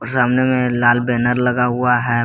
सामने में लाल बैनर लगा हुआ है।